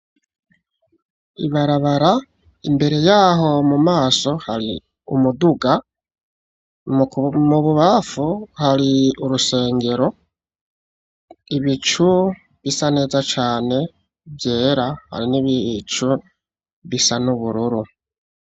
Ibarabara imbere yaho mumaso, hari umuduga, mu bubafu hari urusengero, ibicu bisa neza cane Vyera, hari n'ibicu bisa n'ubururu.